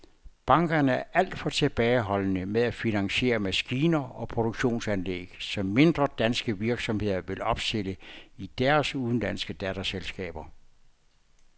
Bankerne er alt for tilbageholdende med at finansiere maskiner og produktionsanlæg, som mindre danske virksomheder vil opstille i deres udenlandske datterselskaber.